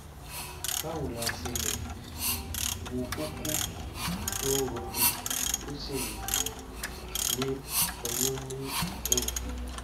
báwo la ṣe lè um wo kókó tó ń roni tó sì um ní ọyún ní ìpéǹpéjú?